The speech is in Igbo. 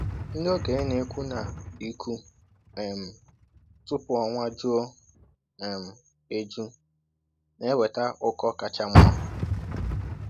Ndị okenye na-ekwu na ịkụ um tupu ọnwa juo um eju na-eweta ụkọ kacha mma.